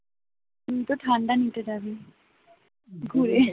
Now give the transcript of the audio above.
তুইতো ঠান্ডা নিতে যাবি ঘুরে